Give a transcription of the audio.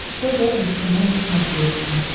тэ вэ эм чено на смотрешке